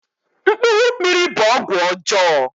Mkpuru mmiri' bụ ọgwụ ọjọọ